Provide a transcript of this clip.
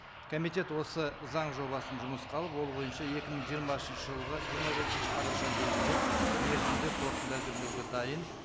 комитет осы заң жобасын жұмысқа алып ол бойынша екі мың жиырмасыншы жылғы жиырма бесінші қараша дейінгі мерзімде қорытынды әзірлеуге дайын